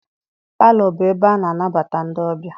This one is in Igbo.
Palọ bụ ebe ana anabata ndị ọbịa.